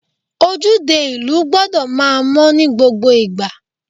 Ojúde ìlú gbọ́dọ̀ máa mọ́ ní gbogbo ìgbà.